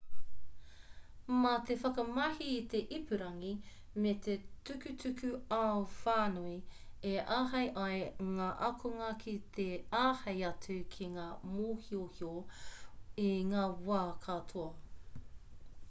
mā te whakamahi i te ipurangi me te tukutuku-ao-whānui e āhei ai ngā ākonga ki te āhei atu ki ngā mōhiohio i ngā wā katoa